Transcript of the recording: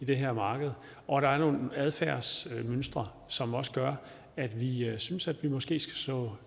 det her marked og der er nogle adfærdsmønstre som gør at vi synes at vi måske skal slå